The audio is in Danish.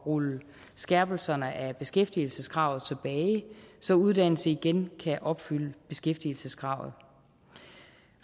rulle skærpelserne af beskæftigelseskravet tilbage så uddannelse igen kan opfylde beskæftigelseskravet